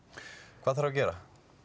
hvað þarf að gera